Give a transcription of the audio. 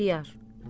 İxtiyar.